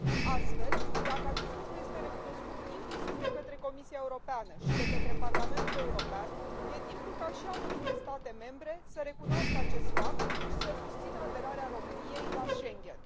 Astfel, dacă acest lucru este recunoscut inclusiv de către Comisia Europeană și de către Parlamentul European, e timpul ca și anumite state membre să recunoască acest fapt și să susțină aderarea României la Schengen.